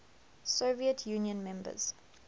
soviet union members